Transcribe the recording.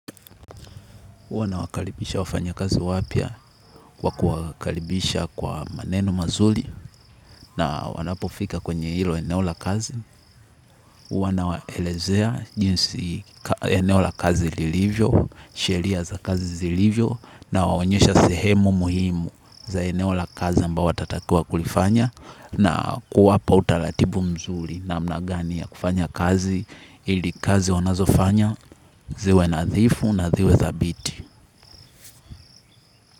Huwa nawakalibisha wafanyakazi wapya kwa kuwakalibisha kwa maneno mazuli na wanapofika kwenye hilo eneo la kazi. Huwa nawalezea jinsi eneo la kazi lilivyo, sheria za kazi zilivyo nawaonyesha sehemu muhimu za eneo la kazi ambayo watatakiwa kulifanya na kuwapa utalatibu mzuli namna gani ya kufanya kazi ili kazi wanazofanya ziwe na nadhifu na dhiwe zabiti.